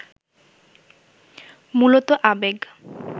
মূলত আবেগ